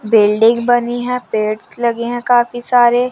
Building बनी हैं पेड्स लगे हैं काफी सारे।